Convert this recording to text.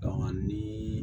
ni